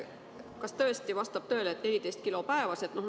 Kas tõesti vastab tõele, et müüa võib 14 kilo päevas?